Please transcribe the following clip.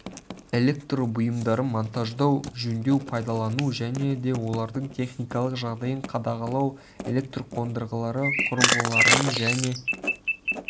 электр бұйымдарын монтаждау жөндеу пайдалану және де олардың техникалық жағдайын қадағалау электр қондырғылары құрылғыларының және